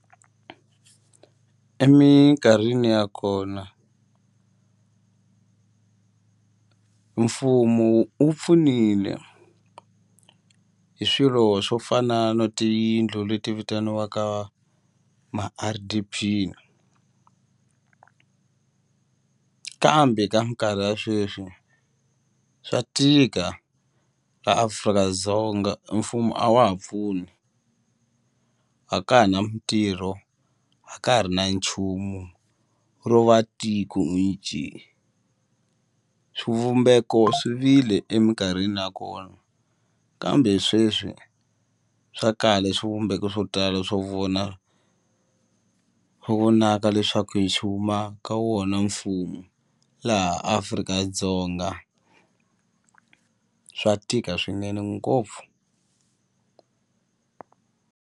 Eminkarhini ya kona mfumo wu pfunile hi swilo swo fana na tiyindlu leti vitaniwaka ma-R_D_P kambe ka minkarhi ya sweswi swa tika la Afrika-Dzonga e mfumo a wa ha pfuni a ka ha na mitirho a ka ha ri na nchumu ro va tiko hi njhe swivumbeko swi vile eminkarhini nakona kambe sweswi swa kala swivumbeko swo tala swo vona swo vonaka leswaku e xi huma ka wona mfumo laha Afrika-Dzonga swa tika swinene ngopfu.